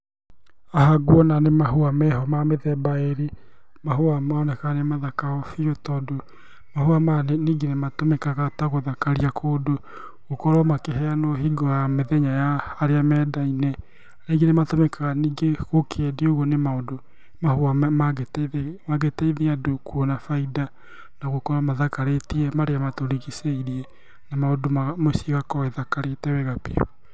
Haha nguona nĩ mahũa meho ma mĩthemba ĩrĩ, mahũa maroneka nĩ mathaka o biũ tondũ mahũa maya ningĩ nĩmatũmĩkaga ta gũthakaria kũndũ, gũkorwo makĩheanwo hingo ya mĩthenya ya arĩa mendaine, kaingĩ nĩ matũmĩkaga ningĩ gũkĩendio ũgũo nĩ maũndũ , mahũa mangĩteithia andũ kuona baida, na gũkorwo mathakarĩtie marĩa matũrigicĩirie, na maũndũ ma mũciĩ ũgakorwo ĩthakarĩte wega biũ.